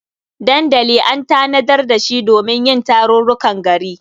Dandali an tanadar da shi domin yin tarurrukan gari.